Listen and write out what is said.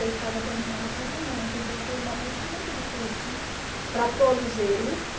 Eu estava terminando o casamento, então foi um momento muito difícil para todos eles.